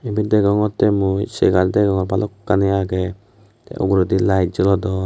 ebet degogotte mui segar degogror balokani agey te uguredi light jolodon.